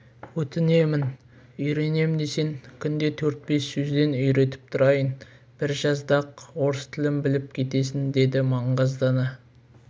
өтінемін үйренем десең күнде төрт-бес сөзден үйретіп тұрайын бір жазда-ақ орыс тілін біліп кетесің деді маңғаздана